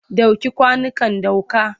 Ɗauke kwanukan dukka!